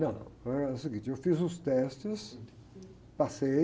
Não, não, é o seguinte, eu fiz os testes, passei,